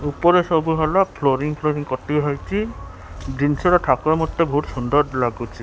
ଉପରେ ସବୁ ଭଲ ଫ୍ଲୁରିଂ ଫ୍ଲୁରିଂ କରିଦିଆହେଇଛି ଜିନିଷ ର ଥାକ ମଧ୍ୟ ବହୁତ ସୁନ୍ଦର ଲାଗୁଛି।